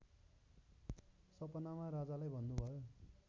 सपनामा राजालाई भन्नुभयो